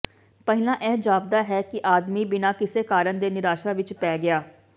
ਪਹਿਲਾਂ ਇਹ ਜਾਪਦਾ ਹੈ ਕਿ ਆਦਮੀ ਬਿਨਾਂ ਕਿਸੇ ਕਾਰਨ ਦੇ ਨਿਰਾਸ਼ਾ ਵਿੱਚ ਪੈ ਗਿਆ